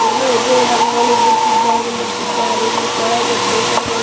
ಏನೊ ಇದೆ ರಂಗೋಲಿ ಬಿಡಿಸಿದ್ದಗೆ ಬಿಡಿಸಿದ್ದಾರೆ ಇಲ್ಲಿ ಕೆಳಗೆ ಪೇಪರ್ ಮೇಲೆ